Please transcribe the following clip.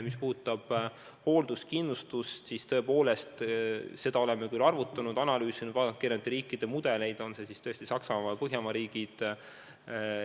Mis puudutab hoolduskindlustust, siis seda me oleme küll arutanud, analüüsinud, vaadanud eri riikide mudeleid – on see siis Saksamaa või Põhjamaad.